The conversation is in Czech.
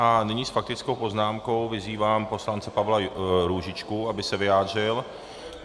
A nyní s faktickou poznámkou vyzývám poslance Pavla Růžičku, aby se vyjádřil.